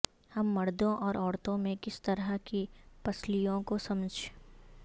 ہم مردوں اور عورتوں میں کس طرح کی پسلیوں کو سمجھ